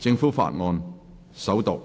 政府法案：首讀。